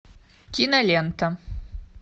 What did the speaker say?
кинолента